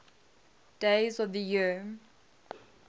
days of the year